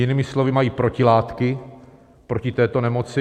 Jinými slovy, mají protilátky proti této nemoci.